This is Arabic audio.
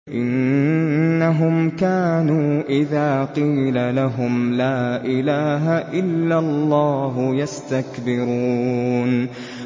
إِنَّهُمْ كَانُوا إِذَا قِيلَ لَهُمْ لَا إِلَٰهَ إِلَّا اللَّهُ يَسْتَكْبِرُونَ